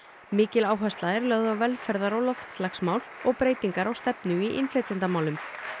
mikil áhersla er lögð á velferðar og loftslagsmál og breytingar á stefnu í innflytjendamálum